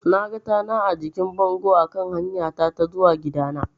Naga tana a jikin bango a kan hanyata ta zuwa gidana.